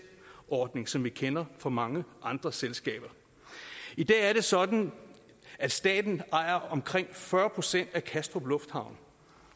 ordning som vi kender fra mange andre selskaber i dag er det sådan at staten ejer omkring fyrre procent af kastrup lufthavn